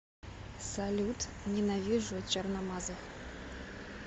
салют ненавижу черномазых